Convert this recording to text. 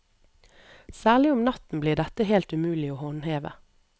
Særlig om natten blir dette helt umulig å håndheve.